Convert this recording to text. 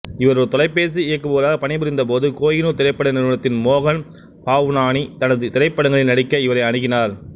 இவர் ஒரு தொலைபேசி இயக்குபவராக பணிபுரிந்தபோது கோகினூர் திரைப்பட நிறுவனத்தின் மோகன் பாவ்னானி தனது திரைப்படங்களில் நடிக்க இவரை அணுகினார்